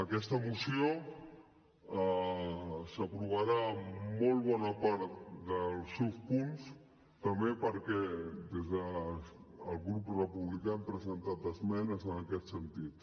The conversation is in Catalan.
aquesta moció s’aprovarà en molt bona part dels seus punts també perquè des del grup republicà hem presentat esmenes en aquest sentit